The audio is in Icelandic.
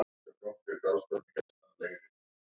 Við vorum ekkert sérstaklega góðar.